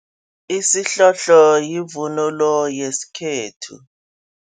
Isihlohlo yivunulo yesikhethu.